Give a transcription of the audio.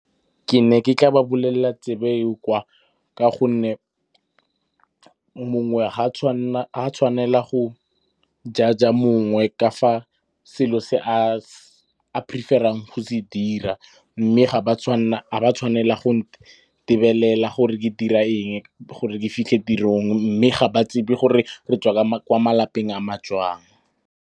Ke ne ke tla ba bolelela tsebo go kwa ka gonne mongwe ga a tshwanela go judge-a mongwe ka fa selo se a prefer-ang go se dira. Mme ga ba tshwanela go ntebelela gore ke dira eng gore ke fitlhe tirong, mme ga ba tsebe gore re tswa kwa malapeng a ma jang.